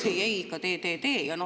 ei-ei, ikka tee!